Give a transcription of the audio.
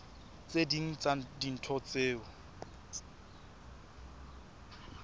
tse ding tsa dintho tseo